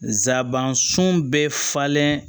Nsaban sun bɛɛ falen